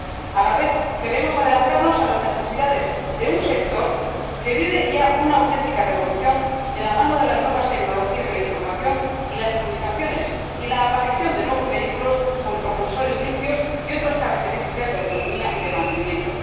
A la vez, queremos adelantarnos a las necesidades de un sector que vive ya una auténtica revolución de la mano de las nuevas tecnologías de la información y las comunicaciones y la aparición de nuevos vehículos con propulsores limpios y otras características de autonomía y de mantenimiento.